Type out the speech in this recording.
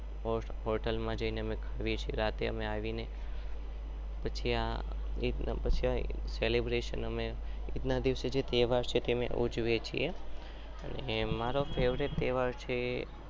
portal માં જઈને અમે આવીને પછી ઈદ ના દિવસે